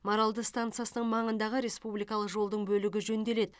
маралды станциясының маңындағы республикалық жолдың бөлігі жөнделеді